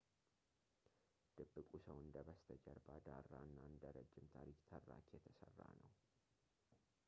ድብቁ ሰው እንደ በስተጀርባ ዳራ እና እንደ ረጅም ታሪክ ተራኪ የተሰራ ነው